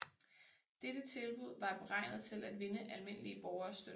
Dette tilbud var beregnet til at vinde almindelige borgeres støtte